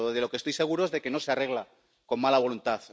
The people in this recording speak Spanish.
Pero de lo que estoy seguro es de que no se arregla con mala voluntad.